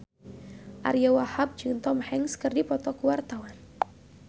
Ariyo Wahab jeung Tom Hanks keur dipoto ku wartawan